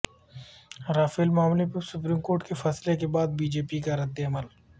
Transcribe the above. Rafale معاملہ پر supreme court کے فیصلہ کے بعد بی جے پی کا ردعمل